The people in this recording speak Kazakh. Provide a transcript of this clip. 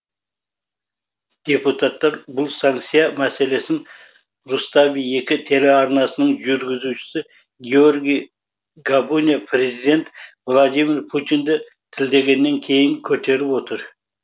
депутаттар бұл санкция мәселесін рустави екі телеарнасының жүргізушісі георгий габуния президент владимир путинді тілдегеннен кейін көтеріп отыр